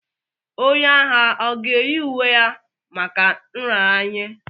Onye agha ọ ga-eyi uwe ya maka nraranye?